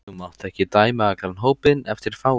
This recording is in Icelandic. Þú mátt ekki dæma allan hópinn eftir fáum.